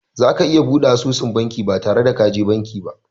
Za ka iya buɗe asusun banki ba tare da ka je banki ba.